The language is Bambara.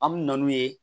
An bɛ na n'u ye